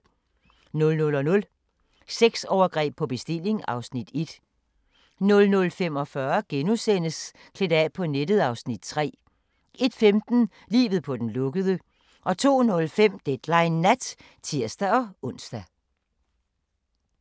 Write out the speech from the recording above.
00:00: Sexovergreb på bestilling (Afs. 1) 00:45: Klædt af på nettet (Afs. 3)* 01:15: Livet på den lukkede 02:05: Deadline Nat (tir-ons)